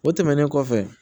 O tɛmɛnen kɔfɛ